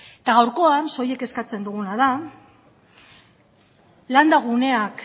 eta gaurkoan soilik eskatzen duguna da landa guneak